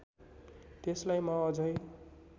त्यसलाई म अझै